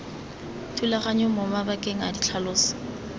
thulaganyong mo mabakeng a ditlhaloso